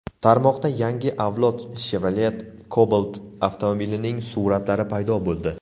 Tarmoqda yangi avlod Chevrolet Cobalt avtomobilining suratlari paydo bo‘ldi.